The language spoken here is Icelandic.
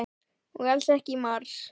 Og alls ekki í mars.